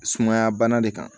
Sumaya bana de kan